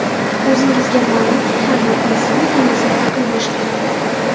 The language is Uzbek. O‘zingizga ma’lumki, har bir inson tanasini aql boshqaradi.